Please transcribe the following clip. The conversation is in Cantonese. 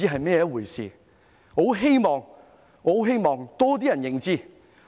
我十分希望有更多人認識。